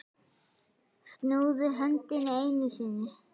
Snúðu öndinni einu sinni.